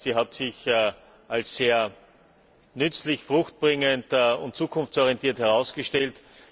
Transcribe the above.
Sie hat sich als sehr nützlich, fruchtbringend und zukunftsorientiert herausgestellt.